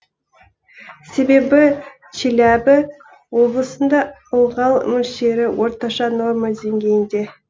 себебі челябі облысында ылғал мөлшері орташа норма денгейінде